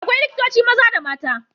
Akwai likitoci maza da mata.